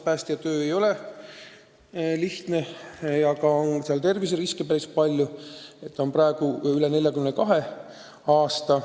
Päästja töö ei ole lihtne ja terviseriske on seal päris palju, aga nende keskmine vanus on praegu veidi üle 42 aasta.